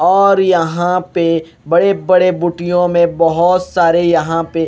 और यहांँ पे बड़े बड़े बुटियों में बहुत सारे यहांँ पे --